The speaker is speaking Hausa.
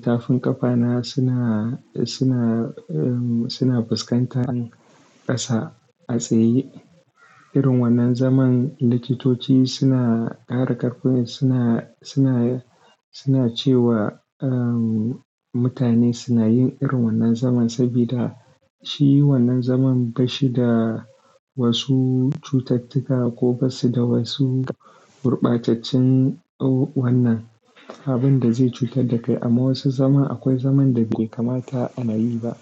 Tafin ƙafa na suna, suna, suna fuskantar ƙasa a tsaye. Irin wannan zaman, likitoci suna ƙara ƙarfin, suna, suna, suna cewa mutane suna yin irin wannan zaman saboda shi wannan zaman bashi da wasu cutattuka ko basu da wasu gurɓataccen wannan abinda zai cutar da kai. Amma wasu zaman akwai zaman da bai kamata a nayi ba.